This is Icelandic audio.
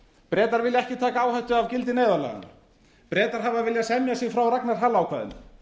bretar vilja ekki taka áhættu af gildi neyðarlaganna bretar hafa viljað semja sig frá ragnars hall ákvæðinu